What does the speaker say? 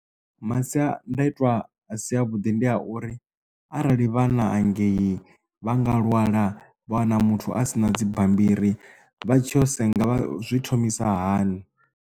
Masiandaitwa a si a vhuḓi ndi a uri arali vha na hangei vha nga lwala vha wana muthu asina dzi bammbiri vha tsho senga vha zwi thomisa hani.